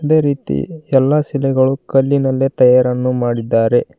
ಇದೆ ರೀತಿ ಎಲ್ಲಾ ಶಿಲೆಗಳು ಕಲ್ಲಿನಲ್ಲೇ ತಯಾರನ್ನು ಮಾಡಿದ್ದಾರೆ.